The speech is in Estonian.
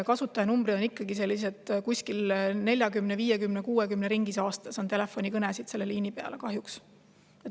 Kasutajanumbrid on endiselt sellised, et selle liini peale tuleb kuskil 40, 50, 60 telefonikõnet aastas, kahjuks.